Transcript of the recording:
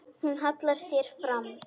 Hún hallar sér fram.